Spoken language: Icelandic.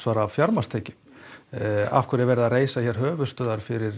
af fjármagnstekjunum af hverju er verið að reisa höfuðstöðvar fyrir